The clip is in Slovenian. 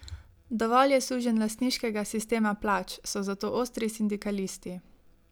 Dovolj je sužnjelastniškega sistema plač, so zato ostri sindikalisti.